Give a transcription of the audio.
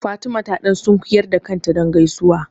Fatima ta ɗan sunkuyar da kanta don gaisuwa.